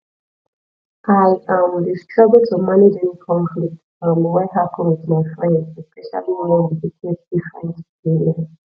i um dey struggle to manage any conflict um wey happen with my friends especially wen we dey get different opinion